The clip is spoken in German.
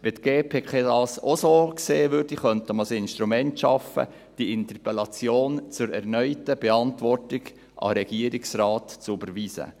Wenn die GPK das auch so sehen würde, könnte man ein Instrument schaffen, um die Interpellation zur erneuten Beantwortung an den Regierungsrat zu überweisen.